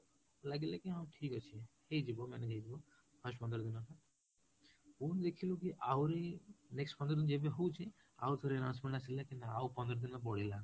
ଲାଗିଲା କି ହଁ ଠିକ ଅଛି ହେଇଯିବ manage ହେଇଯିବ first ପନ୍ଦର ଦିନଟା ପୁଣି ଦେଖିଲୁ କି ଆହୁରି next ପନ୍ଦର ଯେବେ ହଉଛି, ଆଉଥେର ଆସିଲେ କିନ୍ତୁ ଆଉ ପନ୍ଦର ଦିନ ବଳିଲା